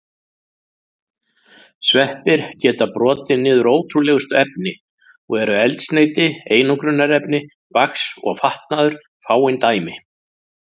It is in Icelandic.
Sveppir geta brotið niður ótrúlegustu efni og eru eldsneyti, einangrunarefni, vax og fatnaður fáein dæmi.